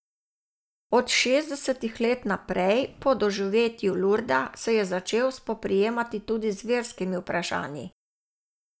Od šestdesetih let naprej, po doživetju Lurda, se je začel spoprijemati tudi z verskimi vprašanji.